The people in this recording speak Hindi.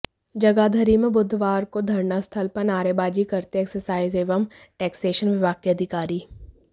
जगाधरी में बुधवार को धरनास्थल पर नारेबाजी करते एक्साइज एवं टैक्सेसन विभाग के अधिकारी